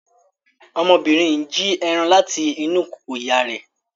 Ọmọbìnrin n jí ẹran láti inú kòkò ìyá rẹ̀